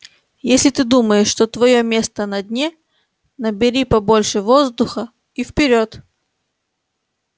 если ты думаешь что твоё место на дне набери побольше воздуха и вперёд